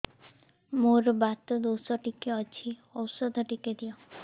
ମୋର୍ ବାତ ଦୋଷ ଟିକେ ଅଛି ଔଷଧ ଟିକେ ଦିଅ